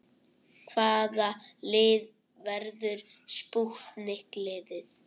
Hvaða lið verður spútnik liðið?